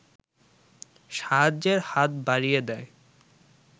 সাহায্যের হাত বাড়িয়ে দেয়